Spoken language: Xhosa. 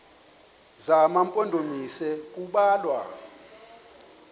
zema mpondomise kubalwa